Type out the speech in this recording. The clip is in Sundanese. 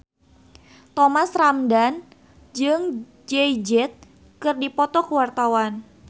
Thomas Ramdhan jeung Jay Z keur dipoto ku wartawan